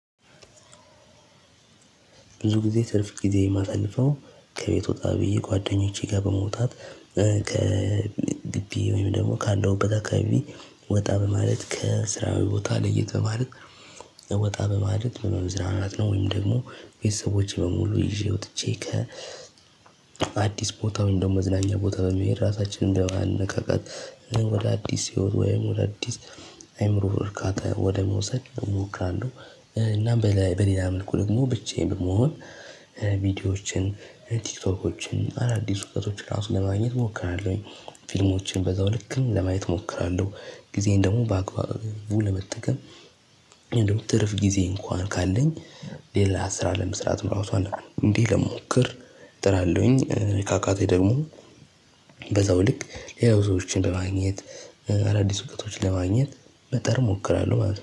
ብዙ ጊዜ ትርፍ ጊዜ የማሳልፈው ከቤት ወጣ ብዬ ጓደኞቼ ጋር በመውጣት ከግቢ ወይም ደግሞ ከአለሁበት አካባቢ ወጣ በማለት ከስራዬ ቦታ ለየትበማለት እ ወጣ በማለት በመዝናናት ነው ወይም ደግሞ ቤተሰቦቼ በሙሉ ይዤ ወጥቼ ከ አዲስ ቦታ ወይም ደግሞ መዝናኛ ቦታ በመሄድ ራሳችንን እንደማንነቃቃት ወደ አዲስ ወይም ወደ አዲስ አይምሮ እርካታ ወደ መውሰድ እሞክራለሁ። እናም በሌላ በሌላ መልኩ ደግሞ ብቻዬን በመሆን ቪዲዮዎችን ቲክቶኮችን አዳዲስ እውቀቶችን ለራሱ ለማግኘት እሞክራለሁኝ። ፊልሞችን በዛው ልክም ለማየት እሞክራለሁ። ጊዜዬን ደግሞ በአግባቡ ለመጠቀም። እንደውም ትርፍ ጊዜ እንኳን ካለኝ ሌላ ስራ ለመስራት ራሱ አንዴ ልሞክር እጥራለሁኝ። ካቃተኝ ደሞ በዛው ልክ ሌላው ሰዎችን በማግኘት አዳዲስ እውቀቶች ለማግኘት በጠር እሞክራለሁ ማለት ነው